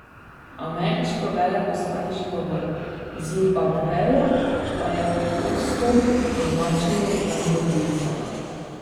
Ameriško veleposlaništvo v Zimbabveju pa je odstop označilo za zgodovinskega.